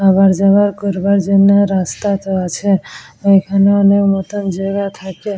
আবার যাবার করবার জন্যে রাস্তাতো আছে ওইখানে অনেক নতুন জায়গা থাকে।